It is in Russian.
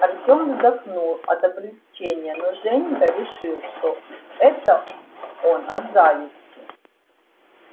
артём вздохнул от облегчения но женька решил что это он от зависти